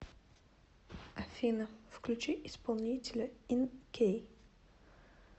афина включи исполнителя ин кей